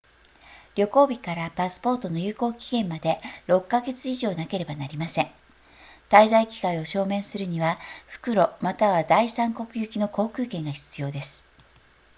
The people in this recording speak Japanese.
旅行日からパスポートの有効期限まで6か月以上なければなりません滞在期間を証明するには復路または第三国行きの航空券が必要です